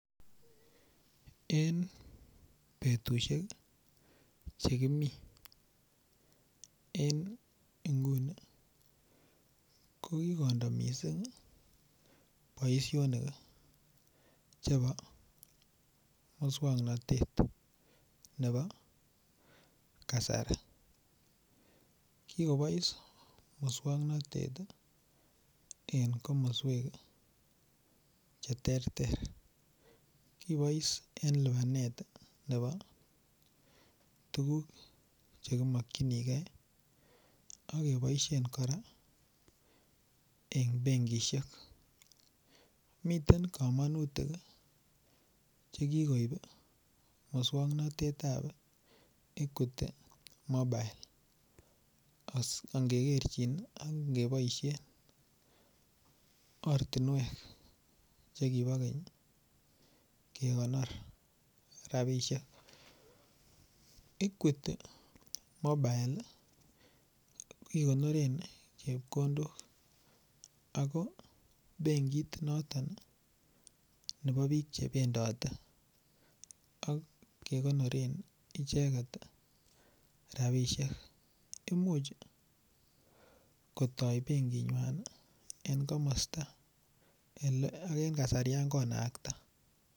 En betushek chekimiten en inguni kokikondo missing' boisionik chebo muswoknotet nebo kasari kikobois muswoknotet en komoswek cheterter kibois en libanet nemokyinigee ak iboishen koraa en benkishek, miten komonutik ii chekikoib muswoknotetab Equity mobile ak ngekerjin ak ngeboishen ortinwek chekibo keny kekonor rabishek Equity mobile ikonoren chepkondok ako benkit noton nebo bik chebendote ak kekonoren icheket rabishek imuch kotoi benkinywan en komosto en kasarian konakta.